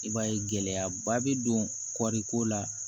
I b'a ye gɛlɛyaba bɛ don kɔriko la